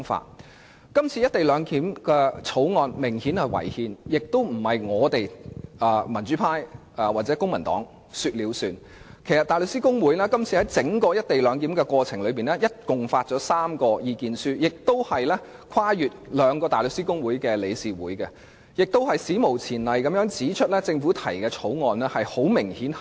這項有關"一地兩檢"的《條例草案》顯然違憲，而且不是民主派或公民黨說了算，因為大律師公會在整個過程合共發表了3份意見書，更跨越大律師公會和香港律師會的兩個理事會，史無前例地指出政府提交的《條例草案》違憲。